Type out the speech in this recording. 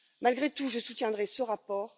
Malgré tout, je soutiendrai ce rapport.